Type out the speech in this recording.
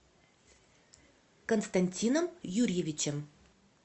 константином юрьевичем